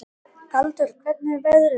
Galdur, hvernig er veðrið úti?